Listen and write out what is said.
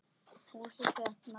Húsið fékk nafnið Naust.